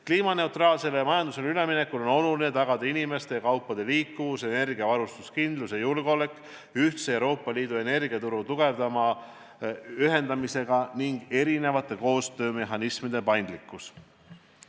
Kliimaneutraalsele majandusele üleminekul on oluline tagada inimeste ja kaupade liikuvus, energiavarustuse kindlus ja julgeolek ühtse Euroopa Liidu energiaturu tugevama ühendamisega, samuti erinevate koostöömehhanismide paindlikkus.